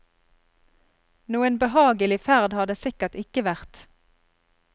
Noen behagelig ferd har det sikkert ikke vært.